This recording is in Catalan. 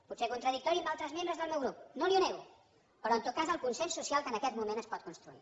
puc ser contradictori amb altres membres del meu grup no li ho nego però en tot cas el consens social que en aquest moment es pot construir